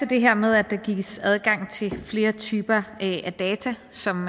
det her med at der gives adgang til flere typer data som